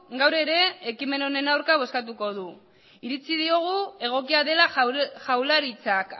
gaur ere ekimen honen aurka bozkatuko du iritzi diogu egokia dela jaurlaritzak